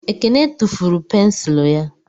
Ekene tufuru pensụl ya